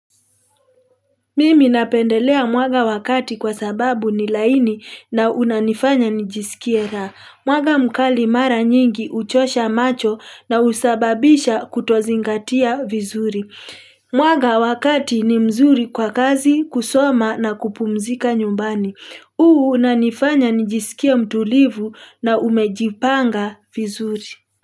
Mimi napendelea mwanga wa kati kwa sababu ni laini na unanifanya nijisikie raha. Mwanga mkali mara nyingi huchosha macho na husababisha kutozingatia vizuri. Mwaga wakati ni mzuri kwa kazi, kusoma na kupumzika nyumbani. Huu unanifanya nijisikie mtulivu na umejipanga vizuri.